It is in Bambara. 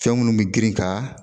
Fɛn minnu bɛ girin ka